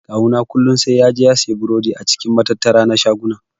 Kawu na kullun sai yaje siyan burodi a cikin matattara na shaguna.